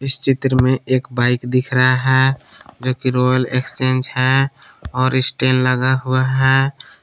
इस चित्र में एक बाइक दिख रहा हैं जो कि रॉयल एक्सचेंज हैं और स्टील लगा हुआ है।